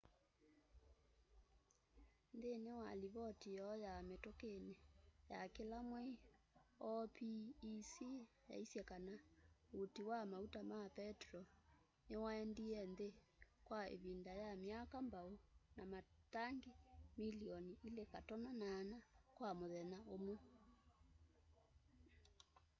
nthĩnĩ wa livoti yoo ya mĩtũkĩnĩ ya kĩla mwei opec yaisye kana ũti wa maũta ma petro nĩwaendĩe nthĩ kwa ivinda ya myaka mbaũ na matangĩ mĩlĩonĩ 2.8 kwa mũthenya ũmwe